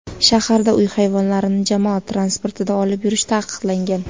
Shaharda uy hayvonlarini jamoat transportida olib yurish taqiqlangan.